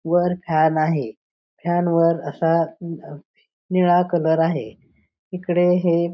वर फॅन आहे फॅन वर असा निळा कलर आहे इकडे हे--